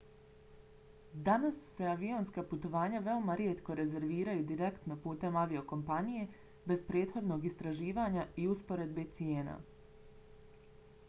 danas se avionska putovanja veoma rijetko rezerviraju direktno putem aviokompanije bez prethodnog istraživanja i usporedbe cijena